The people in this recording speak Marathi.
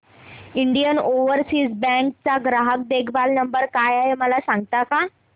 इंडियन ओवरसीज बँक चा ग्राहक देखभाल नंबर काय आहे मला सांगता का